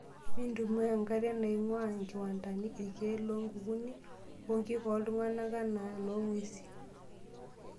Mintumia nkariak naing'waa nkiwantani ,irkiek lonkukuni oo nkik ooltung'ana enaa noong'wesi.